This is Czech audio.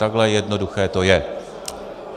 Takhle jednoduché to je.